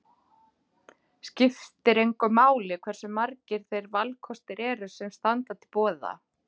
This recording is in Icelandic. Skiptir engu máli hversu margir þeir valkostir eru sem standa til boða.